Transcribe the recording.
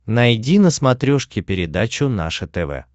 найди на смотрешке передачу наше тв